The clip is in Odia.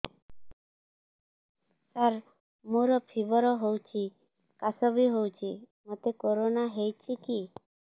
ସାର ମୋର ଫିବର ହଉଚି ଖାସ ବି ହଉଚି ମୋତେ କରୋନା ହେଇଚି କି